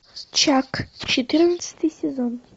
чак четырнадцатый сезон